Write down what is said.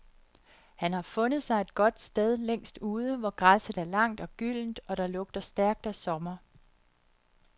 Han har fundet sig et godt sted længst ude, hvor græsset er langt og gyldent og der lugter stærkt af sommer.